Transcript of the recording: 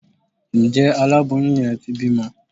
njẹ àláboyún yen tí bimò